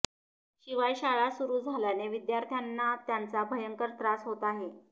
शिवाय शाळा सुरू झाल्याने विद्यार्थ्यांना त्याचा भयंकर त्रास होत आहे